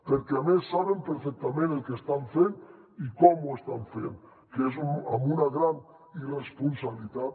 perquè a més saben perfectament el que estan fent i com ho estan fent que és una gran irresponsabilitat